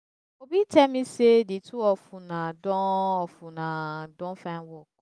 obi tell me say the two of una don of una don find work